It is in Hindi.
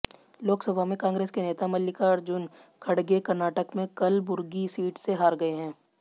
लोकसभा में कांग्रेस के नेता मल्लिकार्जुन खड़गे कर्नाटक में कलबुर्गी सीट से हार गए हैं